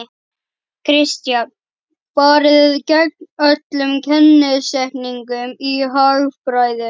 Kristján: Farið gegn öllum kennisetningum í hagfræði?